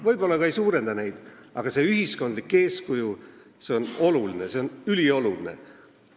Võib-olla ta ka ei suurenda neid arve, aga ühiskondlik eeskuju on oluline, see on ülioluline.